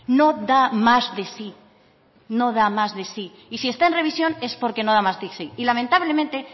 no da más de sí no da más de sí y si está en revisión es porque no da más de sí y lamentablemente